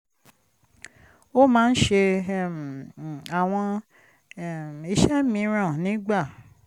ó máa ń ṣe um àwọn um iṣẹ́ mìíràn nígbà